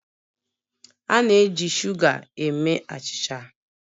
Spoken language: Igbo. A na-eji shuga eme achịcha